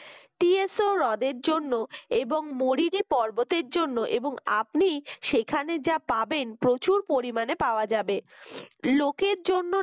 TSO রদের জন্য এবং মরিরি পর্বতের জন্য এবং আপনি সেখানে যা পাবেন প্রচুর পরিমাণে পাওয়া যাবে লোকের জন্য